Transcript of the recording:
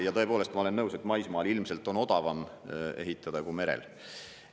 Ja tõepoolest, ma olen nõus, et maismaal ilmselt on odavam ehitada kui merel.